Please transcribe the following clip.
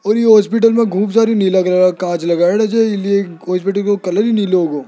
और ये हॉस्पिटल में खूब सारी नीला कलर का कांच लगाएडा छ हॉस्पिटल का कलर ही नीला हो गो।